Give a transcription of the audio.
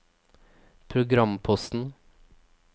programposten